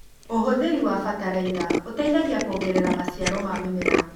ũhũthĩri wa bataraitha ũteithagia kuongerera maciaro ma mĩmera.